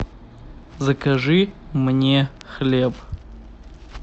закажи мне хлеб